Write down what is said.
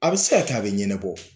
A bi se ka kɛ, a bi ɲɛnabɔ